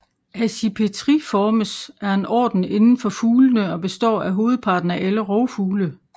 Accipitriformes er en orden inden for fuglene og består af hovedparten af alle rovfugle